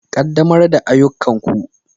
Ƙaddamar da ayyukanku.